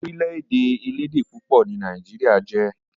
Orílè-èdè elédè púpọ̀ ni nàìjíría jẹ́.